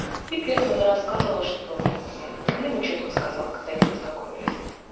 и при этом она рассказывала что она ему чётко сказала когда они познакомились